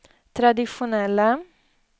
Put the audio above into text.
traditionella